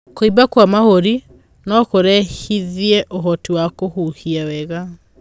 Kuimba kwa mahũri nokurehithie uhoti wa kuhihia wega